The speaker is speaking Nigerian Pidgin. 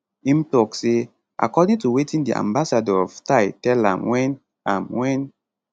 im tok say according to wetin di ambassador of thai tell am wen am wen